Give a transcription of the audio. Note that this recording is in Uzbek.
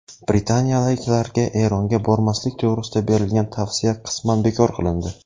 Britaniyaliklarga Eronga bormaslik to‘g‘risida berilgan tavsiya qisman bekor qilindi.